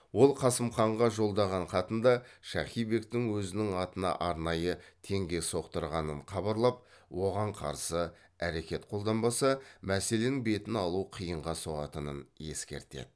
ол қасым ханға жолдаған хатында шахи бектің өзінің атына арнайы теңге соқтырғанын хабарлап оған қарсы әрекет қолданбаса мәселенің бетін алу қиынға соғатынын ескертеді